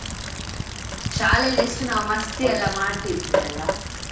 ಶಾಲೆಯಲ್ಲಿ ಎಷ್ಟು ನಾವು ಮಸ್ತಿ ಅಲ್ಲ ಮಾಡ್ತಿದ್ವಿ ಅಲ್ಲ?